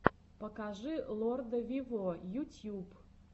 покажи лорда вево ютьюб